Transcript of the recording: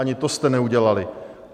Ani to jste neudělali.